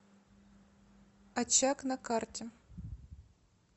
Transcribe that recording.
очаг на карте